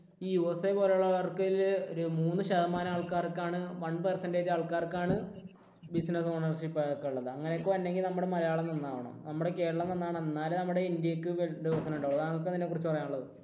USA പോലെയുള്ളവർക്ക് ആണെങ്കിൽ ഒരു മൂന്ന് ശതമാനം ആൾക്കാർക്ക് ആണ് one percentage ആൾക്കാർക്ക് ആണ് business ownership അതൊക്കെ ഉള്ളത്. അങ്ങനോക്കെ നമുക്ക് വരണമെങ്കിൽ നമ്മുടെ മലയാളം നന്നാകണം, നമ്മുടെ കേരളം നന്നാകണം. എന്നാലേ നമ്മുടെ ഇന്ത്യയ്ക്ക് വികസനം ഉണ്ടാവുകയുള്ളൂ. താങ്കൾക്ക് എന്താണ് അതിനെ കുറിച്ച് പറയാനുള്ളത്?